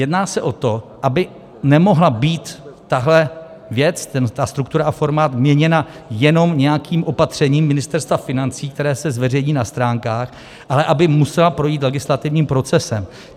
Jedná se o to, aby nemohla být tahle věc, ta struktura a formát, měněna jenom nějakým opatřením Ministerstva financí, které se zveřejní na stránkách, ale aby musela projít legislativním procesem.